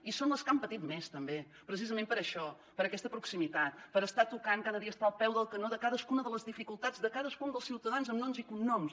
i són les que han patit més també precisament per això per aquesta proximitat per estar tocant cada dia estar al peu del canó de cadascuna de les dificultats de cadascun dels ciutadans amb noms i cognoms